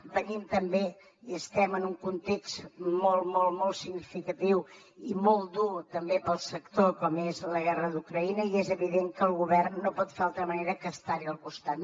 venim també i estem en un context molt molt molt significatiu i molt dur també pel sector com és la guerra d’ucraïna i és evident que el govern no ho pot fer d’altra manera que estar hi al costat